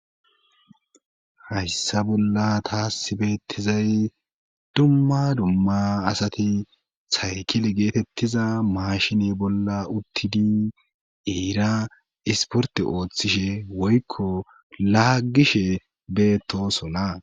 hayssa bolla taa sibettizay dumma dumma asati haykile geetettiza maashine bolla uttidi eera isporte ooththishe woykko laagishe beetosola